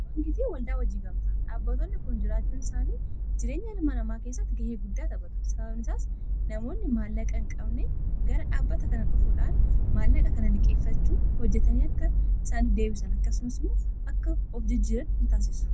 liqii waldaa hojii gamtaa, dhaabbatonni kun jiraachuun isaanii jireenyaa ilmaa namaa kessatti ga'ee guddaa taphaatu. Sababni isaas namoonni maallaaqaa hin qabne gara dhaabbata kanaa dhufuudhaan maallaaqa kana liqeeffachuun hojjatanii akka isaaniif deebisan akkasumaas immoo akka of jijjiiraan isaan taasisa.